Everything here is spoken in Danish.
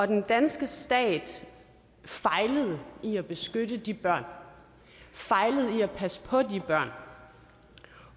den danske stat fejlede i at beskytte de børn fejlede i at passe på de børn